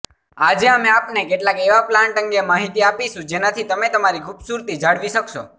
આજે અમે આપને કેટલાક એવા પ્લાન્ટ અંગે માહિતી આપીશુ જેનાથી તમે તમારી ખુબસુરતી જાળવી શકશો